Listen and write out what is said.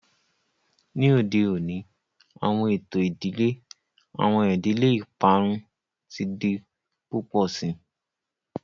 Ni ode oni awọn eto idile, awọn idile iparun ti di pupọ sii.